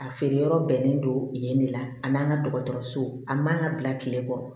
A feere yɔrɔ bɛnnen don yen ne la a n'an ka dɔgɔtɔrɔso a man ka bila kile kɔrɔ